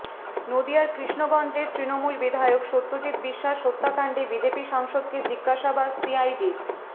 নদিয়ার কৃষ্ণগঞ্জের তৃণমূল বিধায়ক সত্যজিত্ বিশ্বাস হত্যাকাণ্ডে বিজেপি সাংসদকে জিজ্ঞাসাবাদ সিআইডির